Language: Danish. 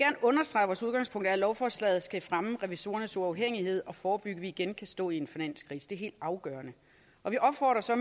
understrege at vores udgangspunkt er at lovforslaget skal fremme revisorernes uafhængighed og forebygge at vi igen at stå i en finanskrise det er helt afgørende vi opfordrer så